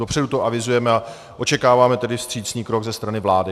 Dopředu to avizujeme a očekáváme tedy vstřícný krok ze strany vlády.